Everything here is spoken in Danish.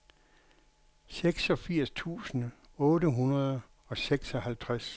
seksogfirs tusind otte hundrede og seksoghalvtreds